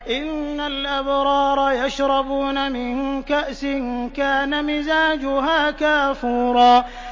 إِنَّ الْأَبْرَارَ يَشْرَبُونَ مِن كَأْسٍ كَانَ مِزَاجُهَا كَافُورًا